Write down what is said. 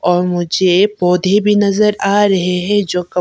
और मुझे पौधे भी नजर आ रहे है जो--